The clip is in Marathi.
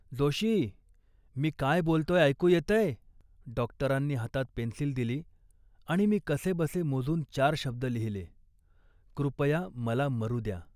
"जोशी, मी काय बोलतोय ऐकू येतंय. डॉक्टरांनी हातात पेन्सिल दिली आणि मी कसेबसे मोजून चार शब्द लिहिले, 'कृपया, मला मरू द्या